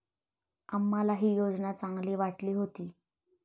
आम्हालाही योजना चांगली वाटली होती.